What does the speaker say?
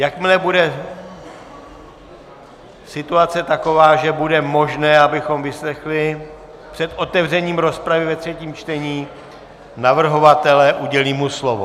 Jakmile bude situace taková, že bude možné, abychom vyslechli před otevřením rozpravy ve třetím čtení navrhovatele, udělím mu slovo.